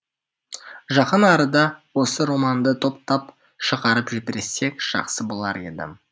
жақын арада осы романды топтап шығарып жіберсек жақсы болар еді